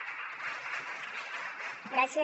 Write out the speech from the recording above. gràcies